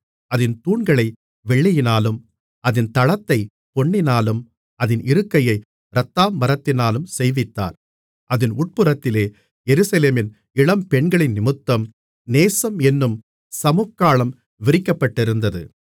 அதின் தூண்களை வெள்ளியினாலும் அதின் தளத்தைப் பொன்னினாலும் அதின் இருக்கையை இரத்தாம்பரத்தினாலும் செய்வித்தார் அதின் உட்புறத்திலே எருசலேமின் இளம்பெண்களினிமித்தம் நேசம் என்னும் சமுக்காளம் விரிக்கப்பட்டிருந்தது